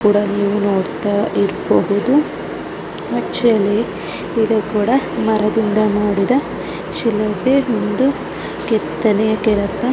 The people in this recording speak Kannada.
ಇದು ಕೂಡಾ ಮರದಿಂದ ಮಾಡಿದ ಒಂದು ಶಿಲುಬೆ ಒಂದು ಕೆತ್ತನೆ.